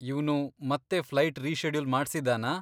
ಇವ್ನು ಮತ್ತೆ flight reschedule ಮಾಡ್ಸಿದ್ದಾನಾ?